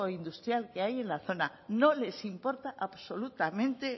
industrial que hay en la zona no les importa absolutamente